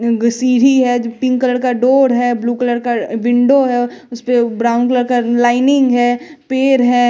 Egg सीरी है pink colour का डोर है ब्लू कलर का विंडो है उसपे ब्राउन कलर का लाइनिंग है पेर है।